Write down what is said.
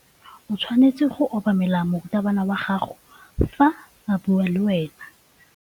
O tshwanetse go obamela morutabana wa gago fa a bua le wena.